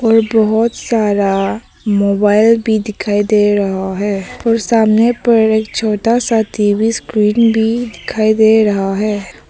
ये बहुत सारा मोबाइल भी दिखाई दे रहा है और सामने पर एक छोटा सा टी_वी स्क्रीन भी दिखाई दे रहा है।